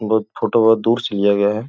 बहुत फोटो वे दूर से लिया गया है।